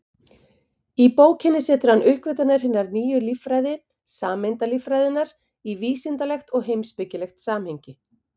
Í bókinni setur hann uppgötvanir hinnar nýju líffræði, sameindalíffræðinnar, í vísindalegt og heimspekilegt samhengi.